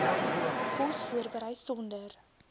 kos voorberei sonder